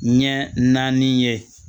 Ɲɛ naani ye